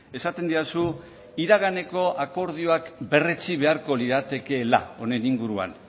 esaten didazu iraganeko akordioak berretsi beharko liratekeela honen inguruan